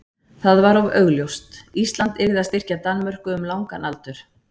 það var of augljóst: Ísland yrði að styrkja Danmörku um langan aldur.